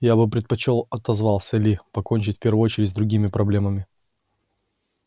я бы предпочёл отозвался ли покончить в первую очередь с другими проблемами